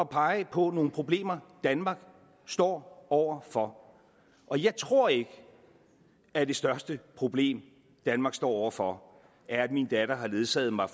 pege på nogle problemer danmark står over for og jeg tror ikke at det største problem danmark står over for er at min datter har ledsaget mig